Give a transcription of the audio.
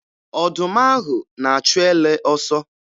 Ọdụm ahụ na-achụ ele ọsọ.